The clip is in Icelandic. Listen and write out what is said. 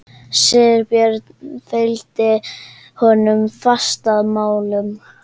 Sigurbjörn fylgdi honum fast að málum.